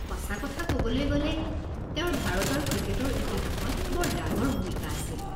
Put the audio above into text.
সঁচা কথা ক'বলৈ গ'লে, তেওঁৰ ভাৰতৰ ক্ৰিকেটৰ ইতিহাসত বৰ ডাঙৰ ভূমিকা আছিল।